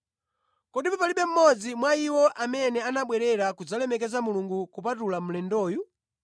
Kodi palibe mmodzi mwa iwo amene anabwerera kudzalemekeza Mulungu kupatula mlendoyu?”